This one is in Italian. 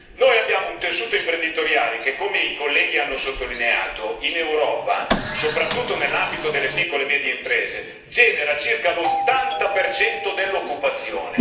Noi abbiamo un tessuto imprenditoriale che, come i colleghi hanno sottolineato, in Europa, soprattutto nell'ambito delle piccole e medie imprese, genera circa l'80 dell'occupazione.